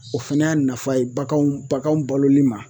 O fana y'a nafa ye baganw baganw baloli ma